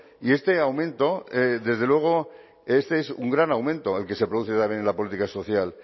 y este aumento desde luego este es un gran aumento el que se produce también en la política social